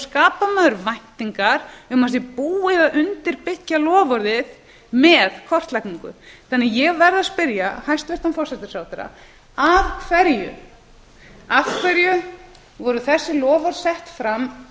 skapar maður væntingar um að það sé búið að undirbyggja loforðið með kortlagningu ég verð að spyrja hæstvirtan forsætisráðherra af hverju voru þessi loforð sett fram